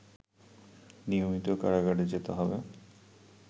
নিয়মিত কারাগারে যেতে হবে